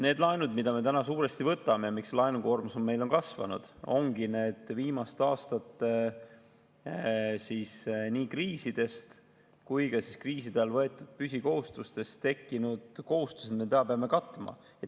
Need laenud, mida me täna suuresti võtame, miks laenukoormus meil on kasvanud, ongi need viimaste aastate nii kriisidest kui ka kriiside ajal võetud püsikohustustest tekkinud kohustused, mida me täna peame katma.